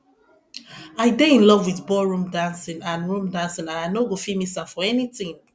i dey in love with ball room dancing and room dancing and i no go fit miss am for anything